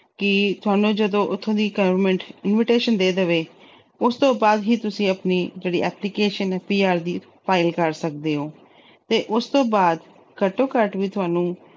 ਕਿ ਥੋਨੂੰ ਜਦੋਂ ਉੱਥੋਂ ਦੀ government invitation ਦੇ ਦੇਵੇ, ਉਸ ਤੋਂ ਬਾਅਦ ਹੀ ਤੁਸੀਂ ਆਪਣੀ application ਏ ਜਿਹੜੀ PR ਦੀ file ਕਰ ਸਕਦੇ ਓ ਤੇ ਉਸ ਤੋਂ ਬਾਅਦ ਘੱਟੋ-ਘੱਟ ਵੀ ਥੋਨੂੰ